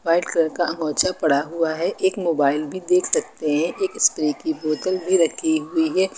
White colour का अमाचा पड़ा हुआ है एक मोबइल भीं देख सकते है एक स्प्रे की बोतल भीं रखी हुई है।